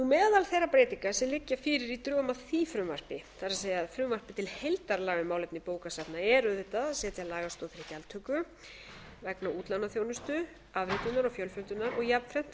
meðal þeirra breytinga sem liggja fyrir í drögum að því frumvarpi það er frumvarpi til heildarlaga um málefni bókasafna er auðvitað að setja lagastoð til gjaldtöku vegna útlánaþjónustu afritunar og fjölfjöldunar og jafnframt